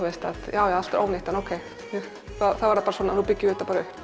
já já allt er ónýtt en ok þá er það bara svona nú byggjum við þetta upp